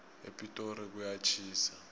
epitori kuyatjhisa